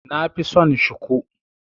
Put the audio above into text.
Nafi son Shiku.